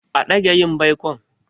A dage yin baikon.